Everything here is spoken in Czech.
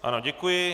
Ano, děkuji.